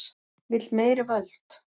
Vill meiri völd